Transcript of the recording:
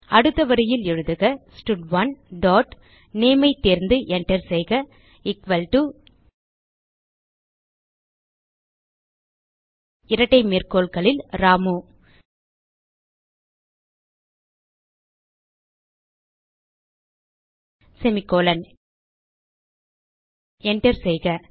அடுத்த வரியில் எழுதுக ஸ்டட்1 டாட் nameஐ தேர்ந்து enter செய்க எக்குவல் டோ இரட்டை மேற்கோள்களில்Ramu செமிகோலன் enter செய்க